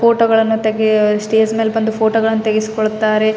ಈ ಚಿತ್ರ ನೋಡಬಹುದಾದರೆ ಇಲ್ಲಿ ಒಂದು ವಿವಾಹ್ ನಡೀತಾ ಇದೆ ಇಲ್ಲಿ ತುಂಬಾ ತರಹದ ಹೂವಿನಿಂದ ಅಲಂಕಾರಿಸಿದ್ದಾರೆ.